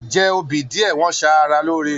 Jẹ obì díẹ̀, wọ́n ṣaara lóore.